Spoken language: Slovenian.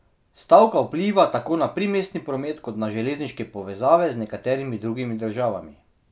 Stavka vpliva tako na primestni promet kot na železniške povezave z nekaterimi drugimi državami.